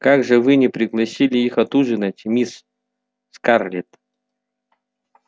как же вы не пригласили их отужинать мисс скарлетт